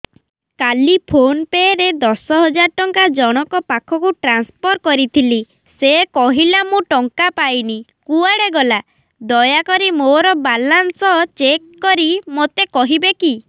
କାଲି PhonePe ରେ ଦଶ ହଜାର ଟଙ୍କା ଜଣକ ପାଖକୁ ଟ୍ରାନ୍ସଫର୍ କରିଥିଲି ସେ କହିଲା ମୁଁ ଟଙ୍କା ପାଇନି କୁଆଡେ ଗଲା ଦୟାକରି ମୋର ବାଲାନ୍ସ ଚେକ୍ କରି ମୋତେ କହିବେ କି